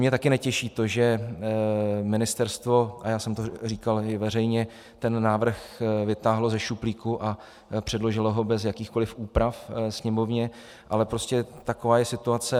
Mě taky netěší to, že ministerstvo - a já jsem to říkal i veřejně - ten návrh vytáhlo ze šuplíku a předložilo ho bez jakýchkoli úprav Sněmovně, ale prostě taková je situace.